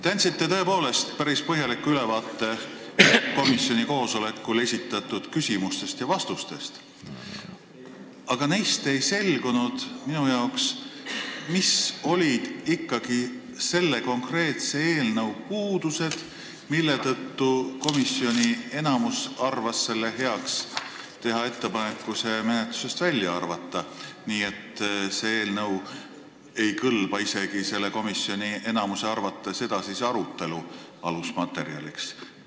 Te andsite tõepoolest päris põhjaliku ülevaate komisjoni koosolekul esitatud küsimustest ja antud vastustest, aga neist minu arvates ei selgunud, mis olid ikkagi selle konkreetse eelnõu puudused, mille tõttu komisjoni enamus arvas heaks teha ettepaneku see menetlusest välja arvata, miks see eelnõu ei kõlba selle komisjoni enamuse arvates edasise arutelu alusmaterjaliks.